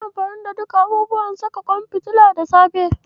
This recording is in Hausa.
Anyi amfani da duka abubuwan saka ƙwan fitilar da safe.